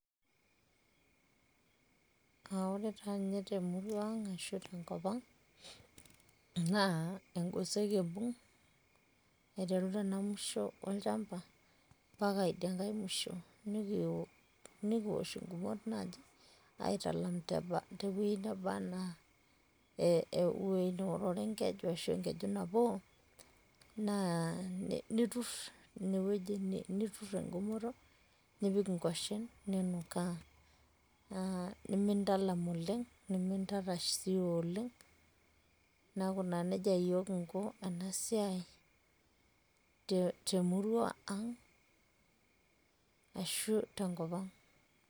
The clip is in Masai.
ore taa ninye temurua ang ashu tenkop ang naa egosoi kiibung aiteru tena musho olchampa mpaka enkae musho .nikiun ingumot naaji, aitalam tewuei neba anaa eneoro enkeju ashu enkeju nabo, naa nitur ine wueji, nitur egumoto, nipik inkwashen ninukaa. nimintalam oleng nimintatash sii oleng. neeku nejia iyiook kino ena siai temurua nag ashu tenkop ang.